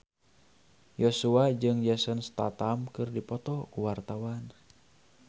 Joshua jeung Jason Statham keur dipoto ku wartawan